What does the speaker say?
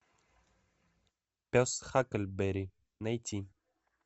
пес хакльберри найти